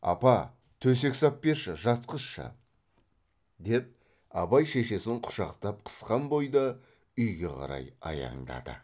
апа төсек сап берші жатқызшы деп абай шешесін құшақтап қысқан бойда үйге қарай аяңдады